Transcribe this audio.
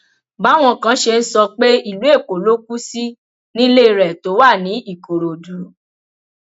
báwọn kan ṣe ń sọ pé ìlú èkó ló kù sí nílé rẹ tó wà ní ìkòròdú